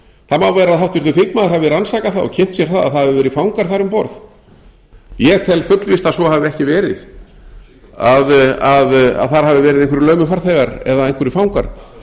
það má vera að háttvirtur þingmaður hafi rannsakað það og kynnt sér það að það hafi verið fangar þar um borð ég tel fullvíst að svo hafi ekki verið að þar hafi verið einhverjir laumufarþegar eða einhverjir fangar